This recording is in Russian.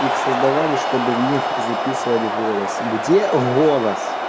их создавали чтобы в них записывать голос где голос